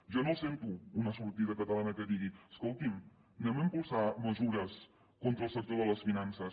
jo no els sento una sortida catalana que digui escolti’m anem a impulsar mesures contra el sector de les finances